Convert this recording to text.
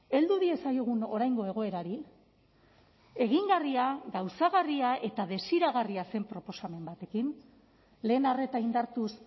heldu diezaiogun oraingo egoerari egingarria gauzagarria eta desiragarria zen proposamen batekin lehen arreta indartuz